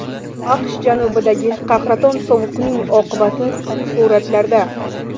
AQSh janubidagi qahraton sovuqning oqibati suratlarda.